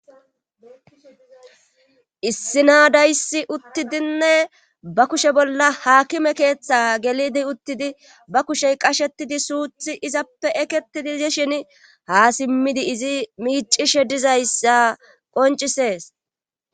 Issi naadayssi uttidinne ba kushe bolla haakime keeththa gelidi uttidi ba kushey qashetidi suuthi izappe eketidi di shin ha simmidi izi miicishe dizayssa qoncisees.